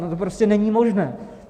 No to prostě není možné.